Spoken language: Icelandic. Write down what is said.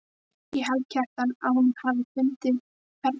Ég held, Kjartan, að hún hafi fundið hvernig mér leið.